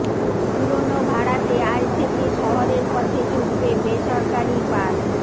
পুরোনো ভাড়াতে আজ থেকে শহরের পথে ছুটবে বেসরকারি বাস